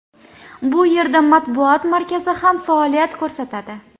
Bu yerda matbuot markazi ham faoliyat ko‘rsatadi.